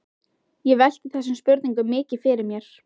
Ég velti þessum spurningum mikið fyrir mér.